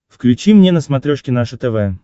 включи мне на смотрешке наше тв